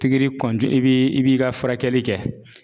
Pikiri i b'i i b'i ka furakɛli kɛ